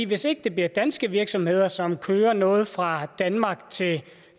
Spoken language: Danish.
hvis ikke det bliver danske virksomheder som kører noget fra danmark til